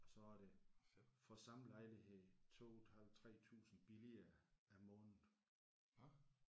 Og så er det for samme lejlighed 2 et halvt 3000 billigere om måneden